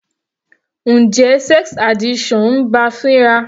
Njẹ́ sex addiction ń bá a fínra?